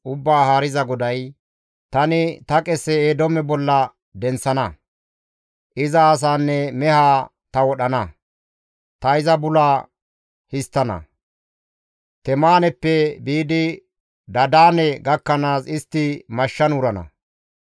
Ubbaa Haariza GODAY: tani ta qese Eedoome bolla denththana. Iza asaanne mehaa ta wodhana; ta iza bula histtana; Temaaneppe biidi Dadaane gakkanaas istti mashshan wurana.